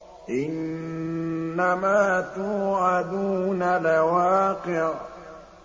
إِنَّمَا تُوعَدُونَ لَوَاقِعٌ